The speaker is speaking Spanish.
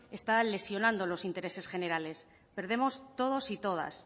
está lesionando los intereses generales perdemos todos y todas